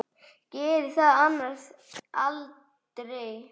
Gerði það annars aldrei.